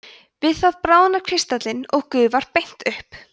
við það bráðnar kristallinn eða gufar beint upp